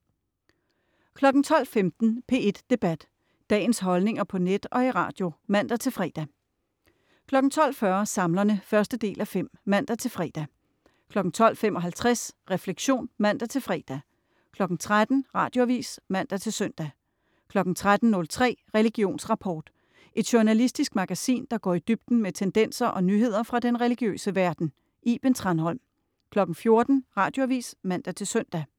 12.15 P1 Debat. Dagens holdninger på net og i radio (man-fre) 12.40 Samlerne 1:5 (man-fre) 12.55 Refleksion (man-fre) 13.00 Radioavis (man-søn) 13.03 Religionsrapport. Et journalistisk magasin, der går i dybden med tendenser og nyheder fra den religiøse verden. Iben Thranholm 14.00 Radioavis (man-søn)